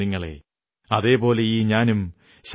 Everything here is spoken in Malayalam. പർവ്വതവും അംബരവും ഭാരതമാകുന്ന പൂങ്കാവനവും നിങ്ങളെ നമിക്കുന്നു